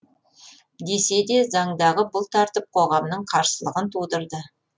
десе де заңдағы бұл тәртіп қоғамның қарсылығын тудырды